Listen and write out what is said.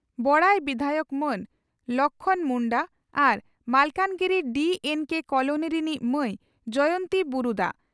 ᱵᱚᱬᱟᱭ ᱵᱤᱫᱷᱟᱭᱚᱠ ᱢᱟᱹᱱ ᱞᱚᱠᱷᱢᱚᱬ ᱢᱩᱱᱰᱟ ᱟᱨ ᱢᱟᱞᱠᱟᱱᱜᱤᱨᱤ ᱰᱤᱹᱮᱱᱹᱠᱮᱹ ᱠᱚᱞᱚᱱᱤ ᱨᱤᱱᱤᱡ ᱢᱟᱹᱭ ᱡᱚᱭᱚᱱᱛᱤ ᱵᱩᱨᱩᱫᱟ ᱾